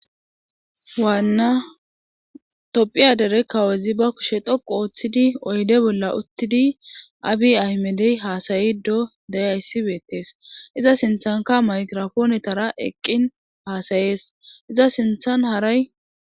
Waanna tophiya dere kawezi ba kushe thoqu ooththidi oyde bolla uttidi abi ahmedey haasayido deyayssi beettees iza sinthanka maykirofoonetara eqqin haasayees iza sinthan haray.